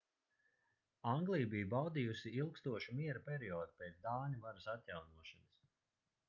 anglija bija baudījusi ilgstošu miera periodu pēc dāņu varas atjaunošanas